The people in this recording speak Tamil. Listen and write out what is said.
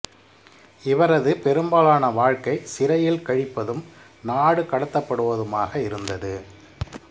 இவரது பெரும்பாலான வாழ்க்கை சிறையில் கழிப்பதும் நாடு கடத்தப்படுவதுமாக இருந்தது